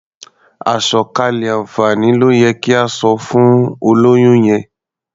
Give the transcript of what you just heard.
Àsọ̀kalẹ̀ àǹfààní ló yẹ kí o sọ fún olóyún yẹn.